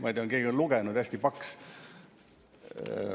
Ma ei tea, on keegi lugenud, hästi paks.